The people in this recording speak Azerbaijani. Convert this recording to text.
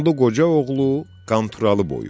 Qanlı Qoca oğlu Qanturalı boyu.